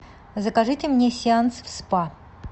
закажите мне сеанс в спа